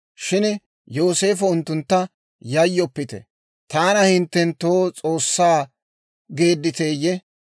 Shin Yooseefo unttuntta, «Yayyoppite; taana hinttenttoo S'oossaa geedditeyye?